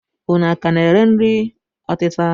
Unu ka na-ere nri ọtịta?